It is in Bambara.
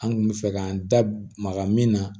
An kun bɛ fɛ k'an da maga min na